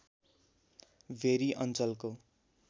very अञ्चलको